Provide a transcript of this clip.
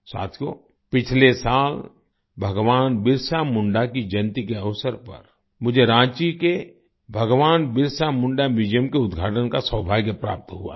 साथियो पिछले साल भगवान बिरसा मुंडा की जयंती के अवसर पर मुझे रांची के भगवान बिरसा मुंडा म्यूजियम Museumके उद्घाटन का सौभाग्य प्राप्त हुआ था